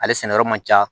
Ale sɛnɛyɔrɔ man ca